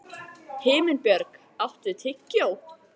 Himinbjörg, áttu tyggjó?